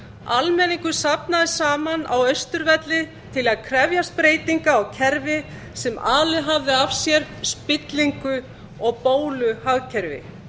almenningur safnaðist saman á austurvelli til að krefjast breytinga á kerfi sem alið hafði af sér spillingu og bóluhagkerfi